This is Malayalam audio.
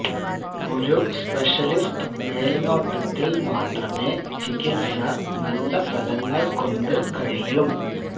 ഒരു സ്പെഷ്യലിസ്റ്റ് മേൽനോട്ടത്തിൽ മാത്രമേ ചികിത്സ നല്ല ഫലങ്ങൾ കൊണ്ട് കഴിയും